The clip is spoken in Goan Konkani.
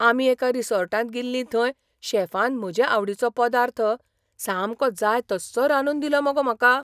आमी एका रिसॉर्टाक गेल्लीं थंय शॅफान म्हजे आवडिचो पदार्थ सामको जाय तस्सो रांदून दिलो मगो म्हाका.